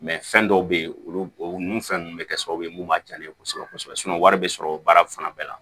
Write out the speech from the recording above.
fɛn dɔw bɛ yen olu nun fɛn ninnu bɛ kɛ sababu ye mun b'a diya ne ye kosɛbɛ kosɛbɛ wari bɛ sɔrɔ baara fana bɛɛ la